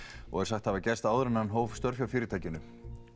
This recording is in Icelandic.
og er sagt hafa gerst áður en hann hóf störf hjá fyrirtækinu